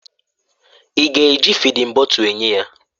Ị ga-eji fịdin bọtul enye ya?